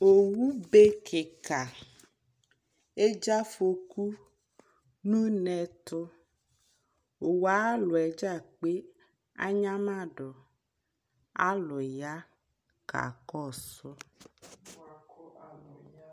asii yanʋ ɔbɛ ayinʋ, ɔsi awla dʋ gagba dili ɔsii ɛdigbɔ di ya kʋ azɛ ɔsii nʋ ala nʋgagba li